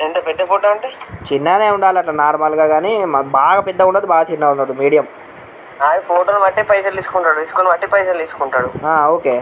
ఎంత పెద్ద ఫోటో ఉంటె చిన్నదే ఉండాలి ఎంత నార్మల్ గ గని మాకు బాగా పెద్దదిగాని బాగా చిన్నదిగాని మీడియం అది ఫోటో ను బట్టి పైసలు తీసుకుంటున్నాడు తీసుకొని బట్టి పైసలు తీసుకొంటాడు హా ఓకే .